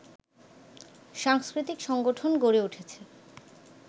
সাংস্কৃতিক সংগঠন গড়ে উঠেছে